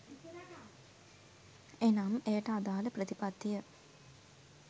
එනම්, එයට අදාළ ප්‍රතිපත්තිය